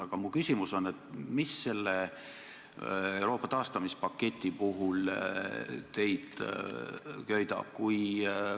Aga mu küsimus on: mis teid selle Euroopa taastamispaketi puhul köidab?